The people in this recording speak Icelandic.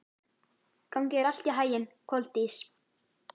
Gangi þér allt í haginn, Koldís.